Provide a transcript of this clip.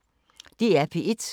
DR P1